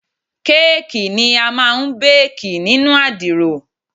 Káàkì ni a máa ń bákì nínú àdìrò.